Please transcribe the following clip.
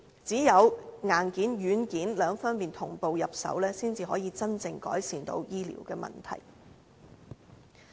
只有硬件、軟件兩方面同步入手，才能真正改善醫療的問題。